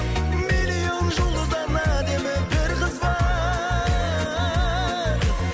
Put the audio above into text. миллион жұлдыздан әдемі бір қыз бар